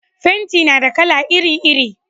fenti na da kala iri iri